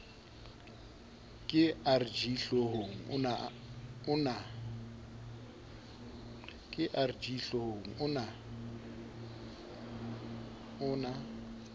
ke rg hlohong o na